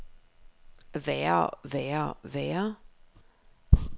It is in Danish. værre værre værre